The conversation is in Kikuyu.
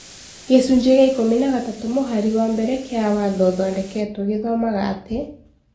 Gĩcunjĩ kĩa ikũmi na gatatũ mũhari wa mbere kĩa watho ũthondeketũo gĩthomaga atĩ,